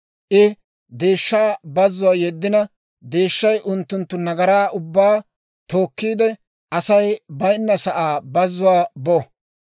I deeshshaa bazzuwaa yeddina, deeshshay unttunttu nagaraa ubbaa tookkiide, Asay bayinna sa'aa bazzuwaa bo.